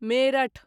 Meerut